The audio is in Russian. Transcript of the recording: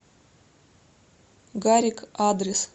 гарик адрес